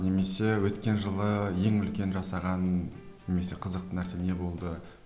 немесе өткен жылы ең үлкен жасаған немесе қызықты нәрсе не болды